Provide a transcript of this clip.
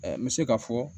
N bɛ se k'a fɔ